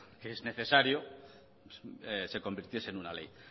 que es necesario se convirtiese en una ley